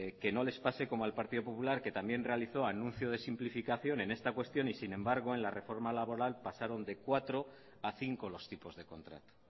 que no les pase como al partido popular que también realizó anuncio de simplificación en esta cuestión y sin embargo en la reforma laboral pasaron de cuatro a cinco los tipos de contrato